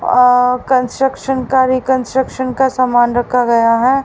अह construction कार्य construction का सामान रखा गया है।